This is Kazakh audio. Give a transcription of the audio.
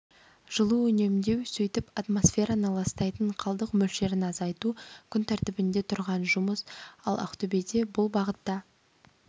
жылу үнемдеу сөйтіп атмосфераны ластайтын қалдық мөлшерін азайту күн тәртібінде тұрған жұмыс ал ақтөбеде бұл бағытта